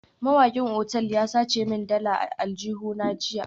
Mai wankin otal ya sace min dalar a aljihuna jiya